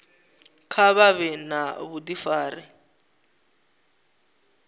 kha vha vhe na vhudifari